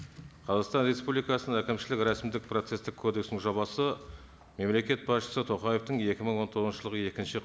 қазақстан республикасының әкімшілік рәсімдік процесстік кодекстің жобасы мемлекет басышысы тоқаевтың екі мың он тоғызыншы жылғы екінші